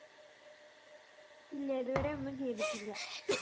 ഇല്ല ഇതുവരെ ഒന്നും ചെയ്‌തിട്ടില്ല